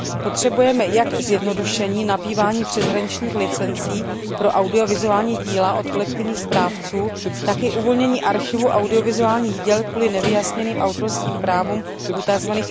Potřebujeme jak zjednodušení nabývání přeshraničních licencí pro audiovizuální díla od kolektivních správců, tak i uvolnění archivu audiovizuálních děl kvůli nevyjasněným autorským právům u tzv.